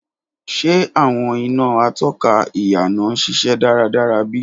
Ṣe awọn ina atóka íyànà n ṣiṣẹ daradara bi?